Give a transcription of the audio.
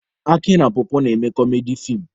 Aki na pọpọ na-eme kọmedi feem.